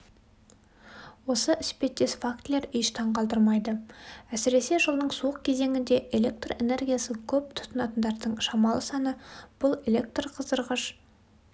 осы іспеттес фактілер еш таңғалдырмайды әсіресе жылдың суық кезеңінде электрэнергиясын көп тұтынатындардың шамалы саны бұл электрқыздырғыш